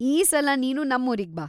ಈ ಸಲ ನೀನು ನಮ್ಮೂರಿಗ್‌ ಬಾ.